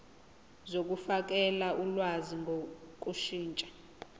zokufakela ulwazi ngokushintsha